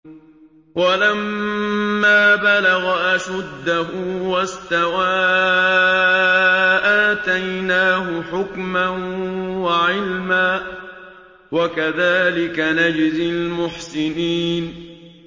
وَلَمَّا بَلَغَ أَشُدَّهُ وَاسْتَوَىٰ آتَيْنَاهُ حُكْمًا وَعِلْمًا ۚ وَكَذَٰلِكَ نَجْزِي الْمُحْسِنِينَ